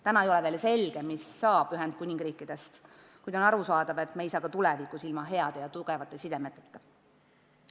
Täna ei ole veel selge, mis saab Ühendkuningriigist, kuid on arusaadav, et me ei saa ka tulevikus ilma heade ja tugevate sidemeteta.